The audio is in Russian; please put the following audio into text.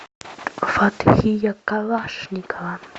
фатхия калашникова